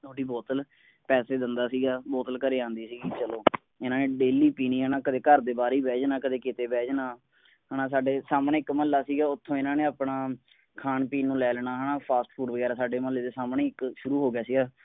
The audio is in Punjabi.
ਤੁਹਾਡੀ ਬੋਤਲ ਪੈਸੇ ਦਿੰਦਾ ਸੀਗਾ ਬੋਤਲ ਘਰੇ ਆਉਂਦੀ ਸੀਗੀ ਚਲੋ ਇਨ੍ਹਾਂ ਨੇਰੋਜ਼ਾਨਾ ਪੀਣੀ ਕਦੇ ਘਰ ਕਦੇ ਨਾਹਰ ਹੀ ਬਹਿ ਜਾਣਾ ਕਦੇ ਕੀਤੇ ਬਹਿ ਜਾਣਾ ਹੈ ਨਾ ਸਾਡੇ ਸਾਮ੍ਹਣੇ ਇੱਕ ਮੁੱਹਲਾ ਸੀਗਾ ਉੱਥੋਂ ਇਨ੍ਹਾਂ ਨੇ ਆਪਣਾ ਖਾਣ ਪੀਣ ਨੂੰ ਲੈ ਲੈਣਾ ਹੈ ਨਾ ਫਾਸਟ ਫੂਡ ਵਗੈਰਾ ਮੁੱਹਲੇ ਦੇ ਸਾਹਮਣੇ ਇੱਕ ਸ਼ੁਰੂ ਹੋ ਗਿਆ ਸੀਗਾ